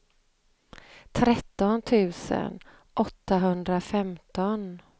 tretton tusen åttahundrafemton